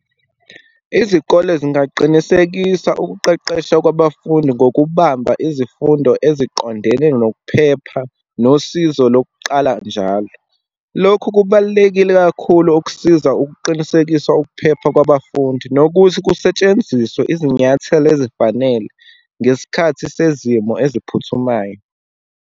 Izikole zingaqinisekisa ukuqeqesha kwabafundi, ngokubamba izifundo eziqondene nokuphepha nosizo lokuqala njalo. Lokhu kubalulekile kakhulu ukusiza ukuqinisekisa ukuphepha kwabafundi, nokuthi kusetshenziswe izinyathelo ezifanele ngesikhathi sezimo eziphuthumayo.